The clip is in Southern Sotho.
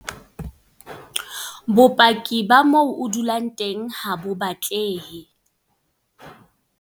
Bopaki ba moo o dulang teng ha bo batlehe.